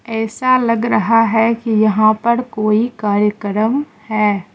ऐसा लग रहा है कि यहां पर कोई कार्यक्रम है।